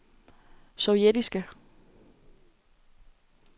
sovjetiske